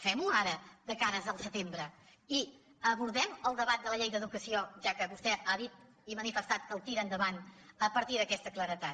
fem ho ara de cara al setembre i abordem el debat de la llei d’educació ja que vostè ha dit i manifestat que el tira endavant a partir d’aquesta claredat